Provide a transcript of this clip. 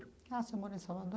Ah, o senhor morou em Salvador.